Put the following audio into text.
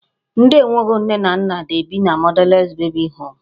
Ndị e nweghị nne na nna na-ebi na motherless babies home.